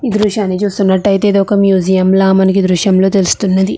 ఈ దృశ్యని చూస్తుంటే ఇదొక మ్యూజియం లాగా మనకి దృశ్యం లో తెలుస్తుంది.